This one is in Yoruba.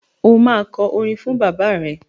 Ó máa kọ orin fún bàbá rẹ.